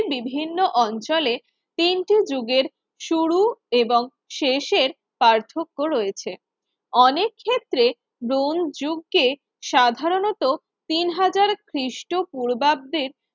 বিভিন্ন অঞ্চলে তিনটি যুগের শুরু এবং শেষের পার্থক্য রয়েছে অনেক ক্ষেত্রে ব্রোঞ্চ যুগকে সাধারণত তিন হাজার খ্রিষ্টপূর্বাব্দের